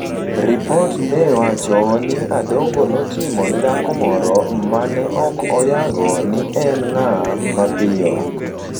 Ripot ne wacho ni Adongo notimo ne dhako moro ma ne ok oyango ni en ng’a mapiyo.